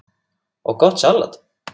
og gott salat.